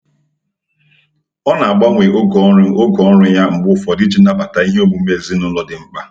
Ọ na-agbanwe oge ọrụ oge ọrụ ya mgbe ụfọdụ iji nabata ihe omume ezinụlọ dị mkpa.